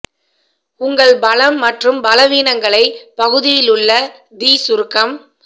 உங்கள் பலம் மற்றும் பலவீனங்களை பகுதியிலுள்ள தி சுருக்கம்